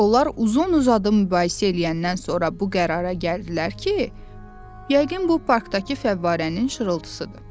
Onlar uzun-uzadı mübahisə eləyəndən sonra bu qərara gəldilər ki, yəqin bu parkdakı fəvvarənin şırıltısıdır.